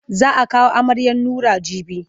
Za a kawo amaryar Nura jibi.